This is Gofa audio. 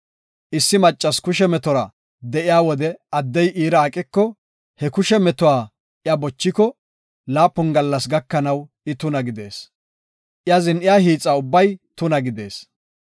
“Issi maccasi kushe metora de7iya wode addey iira aqiko, he kushe metuwa I bochiko, laapun gallas gakanaw I tuna gidees; I zin7iya hiixa ubbay tuna gidees.